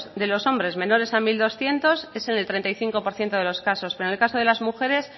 de los hombres menores a mil doscientos es en el treinta y cinco por ciento de los casos pero en el caso de las mujeres